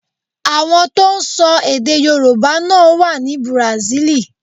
Àwọn tó ń sọ èdè Yorùbá náà wá ní Bùràsílì.